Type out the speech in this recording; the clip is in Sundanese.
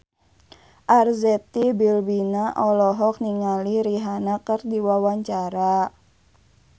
Arzetti Bilbina olohok ningali Rihanna keur diwawancara